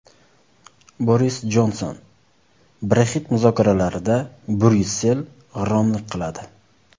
Boris Jonson: Brexit muzokaralarida Bryussel g‘irromlik qiladi.